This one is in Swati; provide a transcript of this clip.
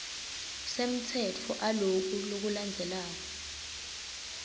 semtsetfo aloku lokulandzelako